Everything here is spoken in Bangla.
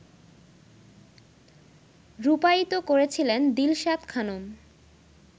রূপায়িত করেছিলেন দিলশাদ খানম